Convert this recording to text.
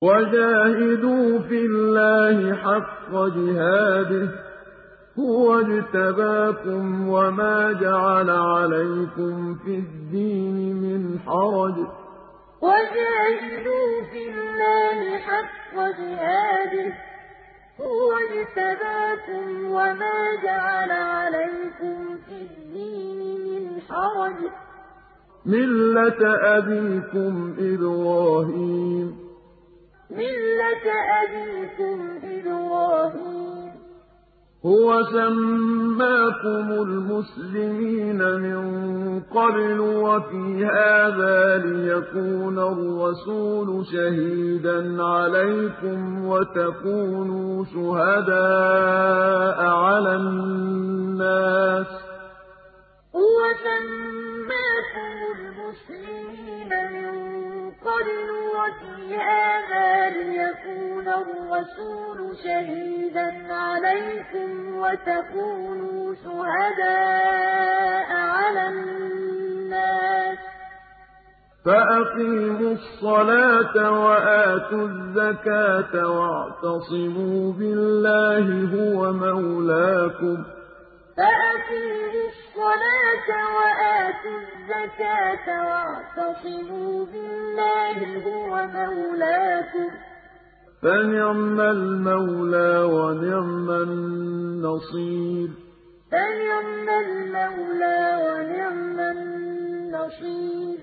وَجَاهِدُوا فِي اللَّهِ حَقَّ جِهَادِهِ ۚ هُوَ اجْتَبَاكُمْ وَمَا جَعَلَ عَلَيْكُمْ فِي الدِّينِ مِنْ حَرَجٍ ۚ مِّلَّةَ أَبِيكُمْ إِبْرَاهِيمَ ۚ هُوَ سَمَّاكُمُ الْمُسْلِمِينَ مِن قَبْلُ وَفِي هَٰذَا لِيَكُونَ الرَّسُولُ شَهِيدًا عَلَيْكُمْ وَتَكُونُوا شُهَدَاءَ عَلَى النَّاسِ ۚ فَأَقِيمُوا الصَّلَاةَ وَآتُوا الزَّكَاةَ وَاعْتَصِمُوا بِاللَّهِ هُوَ مَوْلَاكُمْ ۖ فَنِعْمَ الْمَوْلَىٰ وَنِعْمَ النَّصِيرُ وَجَاهِدُوا فِي اللَّهِ حَقَّ جِهَادِهِ ۚ هُوَ اجْتَبَاكُمْ وَمَا جَعَلَ عَلَيْكُمْ فِي الدِّينِ مِنْ حَرَجٍ ۚ مِّلَّةَ أَبِيكُمْ إِبْرَاهِيمَ ۚ هُوَ سَمَّاكُمُ الْمُسْلِمِينَ مِن قَبْلُ وَفِي هَٰذَا لِيَكُونَ الرَّسُولُ شَهِيدًا عَلَيْكُمْ وَتَكُونُوا شُهَدَاءَ عَلَى النَّاسِ ۚ فَأَقِيمُوا الصَّلَاةَ وَآتُوا الزَّكَاةَ وَاعْتَصِمُوا بِاللَّهِ هُوَ مَوْلَاكُمْ ۖ فَنِعْمَ الْمَوْلَىٰ وَنِعْمَ النَّصِيرُ